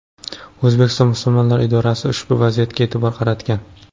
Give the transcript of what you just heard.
O‘zbekiston musulmonlari idorasi ushbu vaziyatga e’tibor qaratgan .